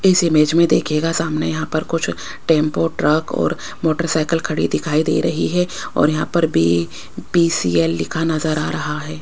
इस इमेज में दिखेगा सामने यहां पर कुछ टेंपो ट्रक और मोटरसाइकिल खड़ी दिखाई दे रही है और यहां पर भी बी_सी_एल लिखा नजर आ रहा है।